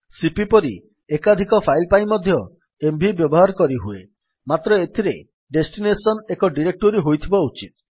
CP ପରି ଏକାଧିକ file ପାଇଁ ମଧ୍ୟ ଏମଭି ବ୍ୟବହାର କରିହୁଏ ମାତ୍ର ଏଥିରେ ଡେଷ୍ଟିନେସନ୍ ଏକ ଡିରେକ୍ଟୋରୀ ହୋଇଥିବା ଉଚିତ